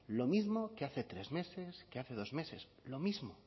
lo mismo que hace tres meses que hace dos meses lo mismo